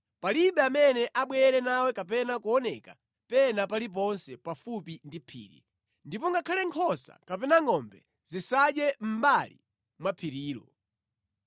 Palibe amene abwere nawe kapena kuoneka pena paliponse pafupi ndi phiri. Ndipo ngakhale nkhosa kapena ngʼombe zisadye mʼmbali mwa phirilo.”